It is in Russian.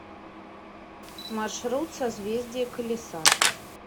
маршрут созвездие колеса